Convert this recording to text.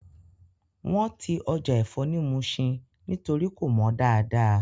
Wọ́n ti Ọjà ẹ̀fọ́ ni Muṣin nítorí kò mọ dáadáa